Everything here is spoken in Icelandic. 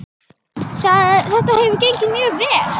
Þetta hefur gengið mjög vel.